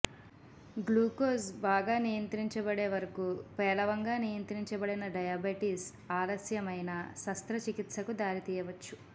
glucose బాగా నియంత్రించబడే వరకు పేలవంగా నియంత్రించబడిన డయాబెటిస్ ఆలస్యమైన శస్త్రచికిత్సకు దారితీయవచ్చు